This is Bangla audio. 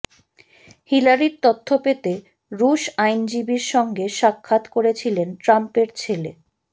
হিলারির তথ্য পেতে রুশ আইনজীবীর সঙ্গে সাক্ষাৎ করেছিলেন ট্রাম্পের ছেলে